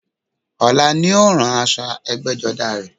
Ọ̀la ni ó rán aṣọ ẹgbẹ́jọdá rẹ